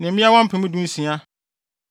mmeawa mpem dunsia (16,000).